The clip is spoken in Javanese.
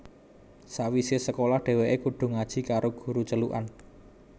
Sawise sekolah dheweke kudu ngaji karo guru celukan